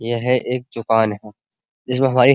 यह एक दुकान है। जिसमे हमारी --